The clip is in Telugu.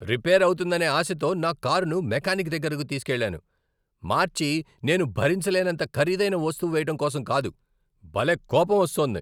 రిపేర్ అవుతుందనే ఆశతో నా కారును మెకానిక్ దగ్గరకు తీసుకెళ్ళాను, మార్చి నేను భరించలేనంత ఖరీదైన వస్తువు వేయటం కోసం కాదు! భలే కోపం వస్తోంది.